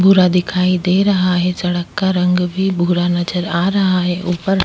भूरा दिखाई दे रहा है सड़क का रंग भी भूरा नज़र आ रहा है ऊपर-